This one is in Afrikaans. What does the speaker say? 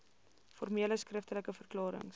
formele skriftelike verklarings